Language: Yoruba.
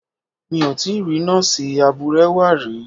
Mi ò tíì rí Nọ́ọ̀sì abúrẹ́wà rí.